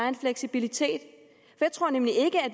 en fleksibilitet jeg tror nemlig